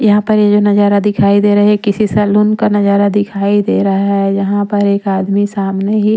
यहाँ पर ये जो नजारा दिखाई दे रहा है ये किसी सलून का नजारा दिखाई दे रहा है यहाँ पर एक आदमी सामने ही--